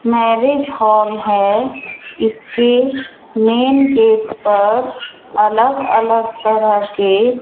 marriage hall है इसके main gate पर अलग अलग तरह के--